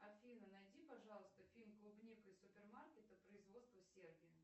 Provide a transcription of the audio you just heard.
афина найди пожалуйста фильм клубника из супермаркета производство сербия